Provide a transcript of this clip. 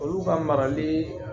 Olu ka marali